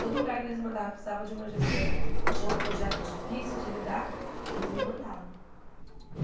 Todo lugar que eles mandavam que precisava de uma gestora, que tinha um projeto difícil de lidar, eles me mandavam.